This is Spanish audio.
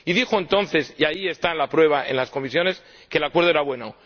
Y dijo entonces —y ahí está la prueba, en las comisiones— que el Acuerdo era bueno.